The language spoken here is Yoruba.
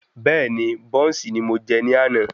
Bẹ́ẹ́ni, bọ́ùnsì ni mo jẹ ní àná.